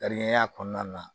Tarikɛn kɔnɔna na